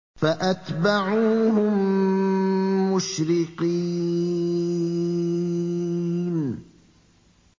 فَأَتْبَعُوهُم مُّشْرِقِينَ